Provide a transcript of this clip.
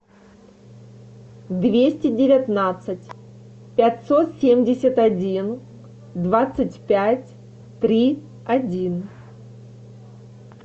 двести девятнадцать пятьсот семьдесят один двадцать пять три один